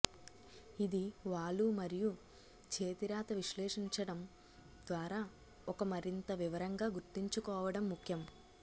ఇది వాలు మరియు చేతిరాత విశ్లేషించడం ద్వారా ఒక మరింత వివరంగా గుర్తుంచుకోవడం ముఖ్యం